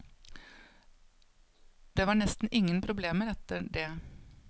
Det var nesten ingen problemer etter det.